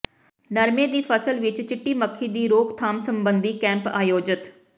ਨਰਮੇਂ ਦੀ ਫਸਲ ਵਿੱਚ ਚਿੱਟੀ ਮੱਖੀ ਦੀ ਰੋਕਥਾਮ ਸਬੰਧੀ ਕੈਂਪ ਅਯੋਜਿਤ